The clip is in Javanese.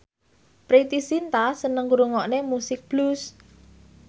Preity Zinta seneng ngrungokne musik blues